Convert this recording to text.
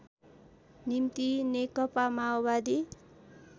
निम्ति नेकपा माओवादी